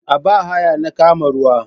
A ba haya na kama ruwa.